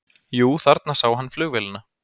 Jú, þarna sá hann flugvélina.